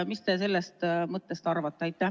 Mis te sellest mõttest arvate?